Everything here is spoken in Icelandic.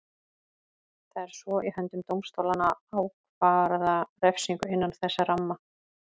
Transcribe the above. Það er svo í höndum dómstólanna að ákvarða refsingu innan þess ramma.